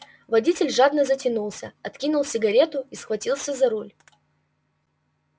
водитель жадно затянулся откинул сигарету и схватился за руль